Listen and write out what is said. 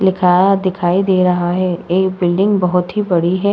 लिखाया दिखाई दे रहा ह। एक बिल्डिंग बोहोत ही बड़ी हैं।